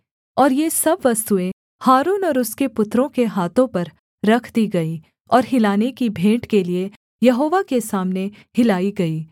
और ये सब वस्तुएँ हारून और उसके पुत्रों के हाथों पर रख दी गईं और हिलाने की भेंट के लिये यहोवा के सामने हिलाई गईं